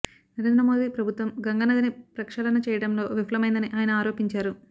నరేంద్ర మోదీ ప్రభుత్వం గంగానదిని ప్రక్షాళన చేయడంలో విఫలమైందని ఆయన ఆరోపించారు